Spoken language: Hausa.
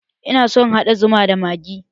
Ina so in haɗa zuman da magani